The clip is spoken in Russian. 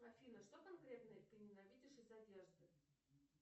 афина что конкретное ты ненавидишь из одежды